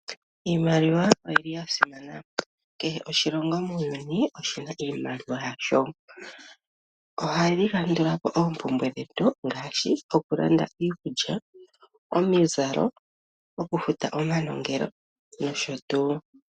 Iimaliwa oyili ya simana kehe oshilonga muuyuni oshina iimaliwa yasho ohayi kandulapo oompumbwe dhetu ngashi okulanda iikulya, omizalo, okufuta omanongelo nosho tuu.